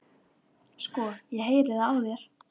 Sko, ég heyri það á þér